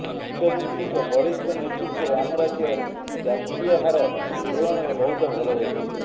ମୁଖ୍ୟମନ୍ତ୍ରୀଙ୍କ ବଳିଷ୍ଠ ନେତୃତ୍ୱରେ ଆମ ରାଜ୍ୟର ସ୍ଥିତି ଜାତୀୟହାର ତୁଳନାରେ ବହୁତ ଭଲ ରହିଛି